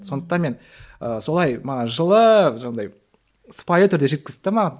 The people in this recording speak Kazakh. сондықтан мен ыыы солай маған жылы жаңағыдай сыпайы түрде жеткізді де маған